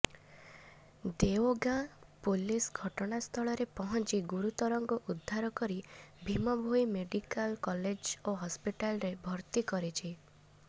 Deogaon police ଘଟଣାସ୍ଥଳରେ ପହଞ୍ଚି ଗୁରୁତରଙ୍କୁ ଉଦ୍ଧାର କରି ଭୀମଭୋଇ ମେଡିକାଲ୍କଲେଜ ଓ ହସ୍ପିଟାଲ୍ରେ ଭର୍ତ୍ତି କରିଛି